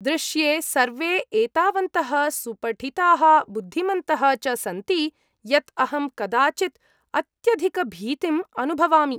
दृश्ये सर्वे एतावन्तः सुपठिताः बुद्धिमन्तः च सन्ति यत् अहं कदाचित् अत्यधिकभीतिम् अनुभवामि।